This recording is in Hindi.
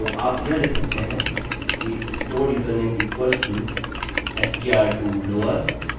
तो आप यह लिख सकते हैं कि stored user name equals to str to lower of username